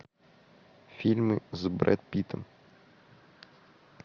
фильмы с брэд питтом